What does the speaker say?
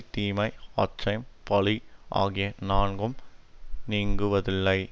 தீமை அச்சம் பழி ஆகிய நான்கும் நீங்குவதில்லை